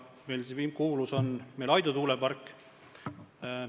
Kuulus on Aidu tuulepark.